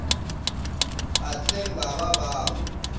phatleng ba ba ba o